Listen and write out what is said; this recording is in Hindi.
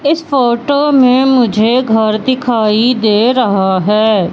इस फोटो में मुझे घर दिखाई दे रहा है।